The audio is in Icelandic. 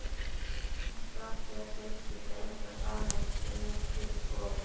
Samsíða geislum er beint að sameind sem er til skoðunar.